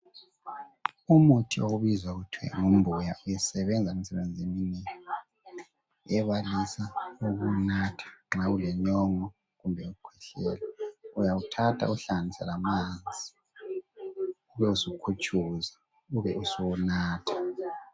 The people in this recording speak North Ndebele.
umuthi okubizwa kuthiwe yimbuya isebenza imsebenzi eminengi ebalisa ukuwunatha nxa ulenyongo kumbe ukwehlela uyawuthatha uwuhlanganisa lamanzi ubusukhutshuza ubusuwunatha